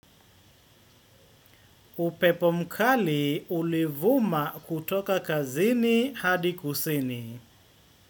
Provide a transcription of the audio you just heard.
Upepo mkali ulivuma kutoka kazini hadi kusini.